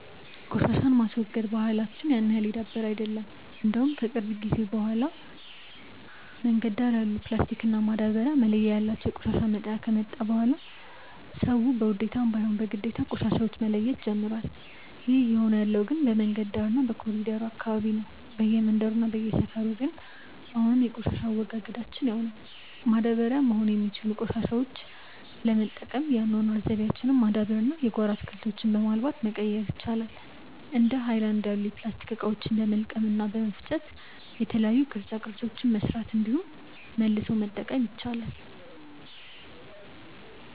ቆሻሻን የማስወገድ ባህላች ያን ያህል የዳበረ አይደለም። እንደውም ከቅርብ ጊዜ በኋላ የመንገድ ዳር ያሉ ፕላስቲክ እና ማዳበርያ መለያ ያላቸው የቆሻሻ መጣያ ከመጣ በኋላ ሰዉ በውዴታም ባይሆን በግዴታ ቆሻሻዎች መለየት ጀምሮዋል። ይህ እየሆነ ያለው ግን በመንገድ ዳር እና በኮሪደሩ አካባቢ ነው። በየመንደሩ እና በየሰፈሩ ግን አሁንም የቆሻሻ አወጋገዳችን ያው ነው። ማዳበሪያ መሆን የሚችሉትን ቆሻሾች ለመጠቀም የአኗኗር ዘይቤያችንን ማዳበር እና የጓሮ አትክልቶችን በማልማት መቀየር ይቻላል። እንደ ሀይለናድ ያሉ የፕላስቲክ እቃዎችን በመልቀም እና በመፍጨ የተለያዩ ቅርፃ ቅርፆችን መስራት እንዲሁም መልሶ መጠቀም ይቻላል።